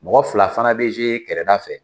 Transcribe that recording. Mɔgɔ fila fana bɛ yɛrɛda fɛ